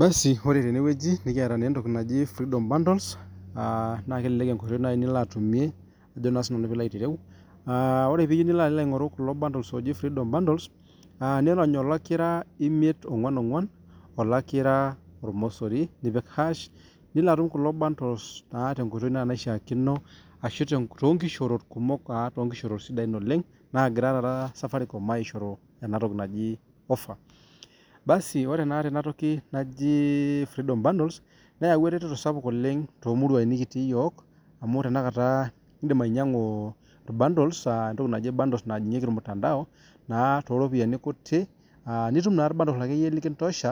basi ore tene wueji nekiata naa entoki naji freedom bundles, aa naake elelek enkoitoi nai nilo atumie ajo naa sinanu piilo aitireu. Aa ore piiyiu nilo alo aing'oru kulo bundles ooji freedom bundles, aa niirony olakira imiet-ong'uan-ong'uan, olakira ormosori nipik hash nilo atum kulo bundles naa tenkoitoi naishaakino ashu te too nkishoorot kumok aa too nkishoorot sidain oleng' naagira taata safaricom aishoru ena toki naji offer. Basi ore naa tenatoki naji freedom bundles neyawua eretoto sapuk oleng' too muruai nekitii iyiok amu tenakata iindim ainyang'u irbundles aa entoki naji bundles aa najing'ieki ormutandao naa too ropiani kutik aa nitum naake irbundles akeyie lekintosha